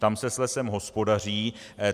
Tam se s lesem hospodaří.